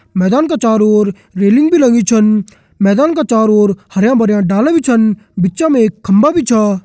मैदान का चोरों ओर रेलिंग भी लगीं छन मैदान का चोरों ओर हरयां भरयां डाला भी छन बिच मा एक खम्बा भी छ।